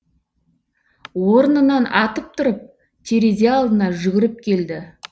орнынан атып тұрып терезе алдына жүгіріп келді